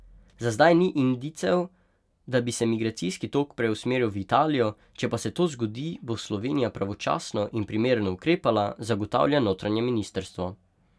Za zdaj ni indicev, da bi se migracijski tok preusmeril v Italijo, če pa se to zgodi, bo Slovenija pravočasno in primerno ukrepala, zagotavlja notranje ministrstvo.